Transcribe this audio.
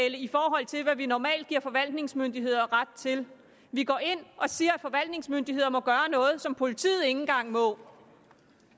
i forhold til hvad vi normalt giver forvaltningsmyndigheder ret til vi går ind og siger at forvaltningsmyndigheder må gøre noget som politiet ikke engang må gøre